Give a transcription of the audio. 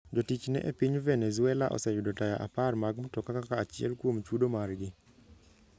Jotichne e piny Venezuela oseyudo taya apar mag mtoka kaka achiel kuom chudo margi.